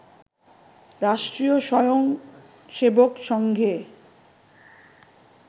রাষ্ট্রীয় স্বয়ংসেবক সংঘে